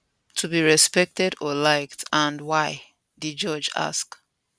to be respected or liked and why di judge ask